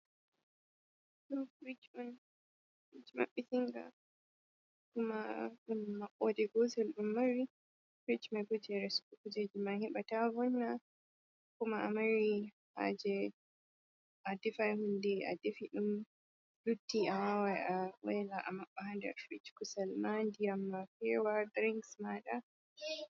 Ɗo ɗum Fridge on, Fridge maɓɓitii nga, kuma ɗum maɓɓoode gootel ɗum mari, frich mai boo jey resugo kuujeeji maa heɓa taa vonna, kuma a mari haaje a defa huunde a defi ɗum lutti a waawan a waila a maɓɓa frich mai kusel maa, ndiyam maa feewa, drings maaɗa.